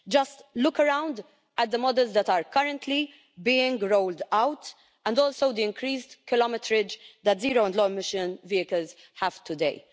Just look around at the models that are currently being rolled out and also the increased kilometrage that zero and low emission vehicles have today.